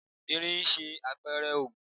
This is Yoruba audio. Irin ń ṣe àpẹrẹ Ògún.